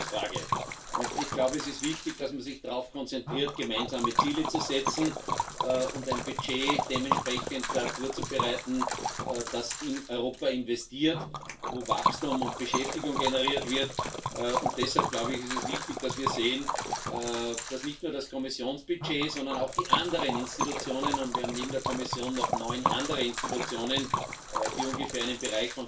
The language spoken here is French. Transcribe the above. Par exemple, dans un domaine aussi crucial que celui du numérique, pouvons nous nous résigner à ce que les géants mondiaux soient américains ou chinois et ne soient pas européens? Préparer l'avenir, c'est également investir dans l'éducation et la formation professionnelle, c'est offrir aux jeunes la possibilité d'aller à la rencontre de la diversité européenne grâce aux bourses Erasmus. J'ai bien entendu votre observation, Monsieur le Ministre, il y a un